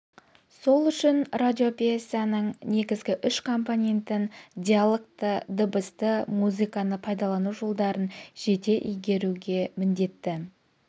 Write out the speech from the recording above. сол үшін радиопьесаның негізгі үш компонентін диалогты дыбысты музыканы пайдалану жолдарын жете игеруге міндетті